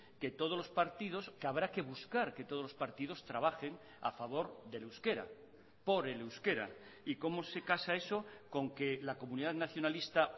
que todos los partidos que habrá que buscar que todos los partidos trabajen a favor del euskera por el euskera y cómo se casa eso con que la comunidad nacionalista